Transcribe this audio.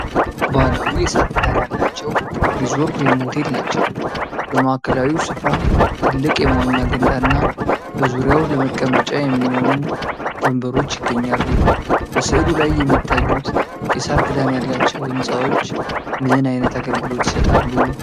ባህላዊ የሳር ክዳን ያላቸው ሪዞርት ወይም ሆቴል ናቸው። በማዕከላዊው ስፍራ ትልቅ የመዋኛ ገንዳ እና በዙሪያው ለመቀመጫ የሚሆኑ ወንበሮች ይገኛሉ፡፡ በሥዕሉ ላይ የሚታዩት የሳር ክዳን ያላቸው ሕንፃዎች ምን ዓይነት አገልግሎት ይሰጣሉ?